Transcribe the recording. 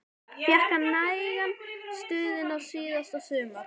Fékk hann nægan stuðning síðasta sumar?